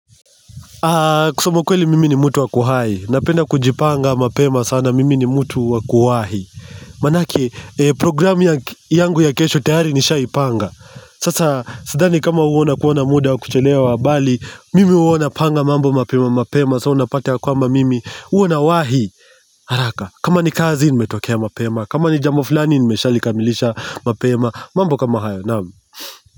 Kusema ukweli mimi ni mtu wakuhai, napenda kujipanga mapema sana mimi ni mtu wakuwahi Manake programu yangu ya kesho tayari nishaipanga Sasa sidani kama uona kuona muda wa kuchelewa bali mimi huona panga mambo mapema mapema so unapata kwamba mimi uona wahi haraka, kama ni kazi ni metokea mapema, kama ni jambo flani ni meshalikamilisha mapema, mambo kama hayo naam.